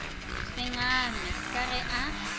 se ngame ka ge a